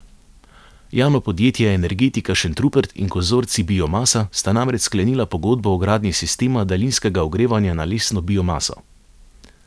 Javno podjetje Energetika Šentrupert in konzorcij Biomasa sta namreč sklenila pogodbo o gradnji sistema daljinskega ogrevanja na lesno biomaso.